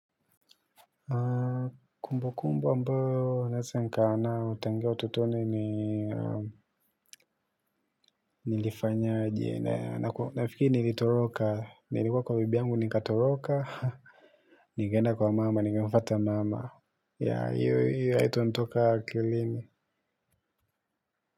Kumbu kumbu ambayo naesa nkawa nao tangia ututoni ni nilifanya je nea nafiki nilitoroka nilikuwa kwa bibi yangu nikatoroka. Nigenda kwa mama nigefata mama ya hiyo hiyo haito ntoka akilini.